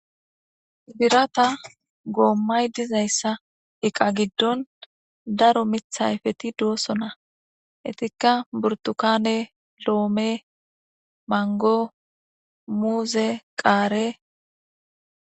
Birata goommay dizayssa iqa giddon daro mithayfeti doosona etikka burtukane loome mango muuze qaare.